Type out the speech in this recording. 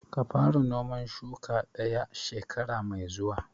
Ka fara noman shuka ɗaya shekara mai zuwa!